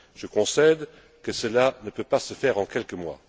Je concède que cela ne peut pas se faire en quelques mois.